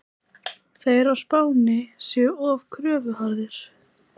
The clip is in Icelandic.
Þeir á Spáni séu of kröfuharðir.